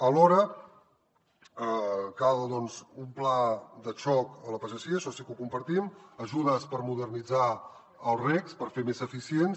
alhora cal doncs un pla de xoc a la pagesia això sí que ho compartim ajudes per modernitzar els recs per fer los més eficients